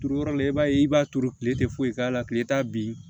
Turuyɔrɔ la i b'a ye i b'a turu tile tɛ foyi k'a la tile t'a bin